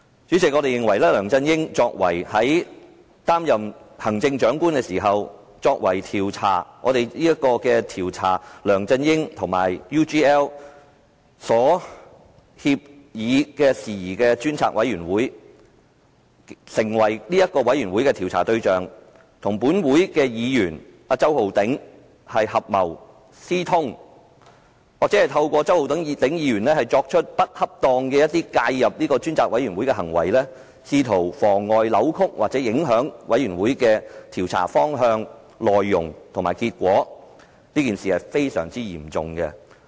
主席，我們認為梁振英在擔任行政長官期間，作為"調查梁振英先生與澳洲企業 UGL Limited 所訂協議的事宜專責委員會"的被調查對象，與周浩鼎議員合謀私通，或透過周浩鼎議員作出不恰當地介入專責委員會工作的行為，試圖妨礙、扭曲或影響專責委員會的調查方向、內容及結果，是一件非常嚴重的事。